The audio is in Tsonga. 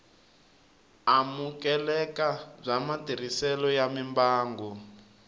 amukeleka bya matirhiselo ya mimbangu